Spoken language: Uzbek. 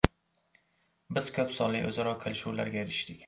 Biz ko‘p sonli o‘zaro kelishuvlarga erishdik.